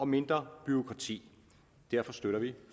mindre bureaukrati derfor støtter vi